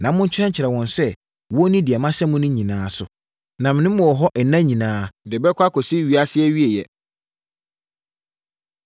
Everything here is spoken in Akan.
na monkyerɛkyerɛ wɔn sɛ, wɔnni deɛ mahyɛ mo no nyinaa so. Na me ne mo wɔ hɔ nna nyinaa de bɛkɔ akɔsi ewiase awieeɛ.”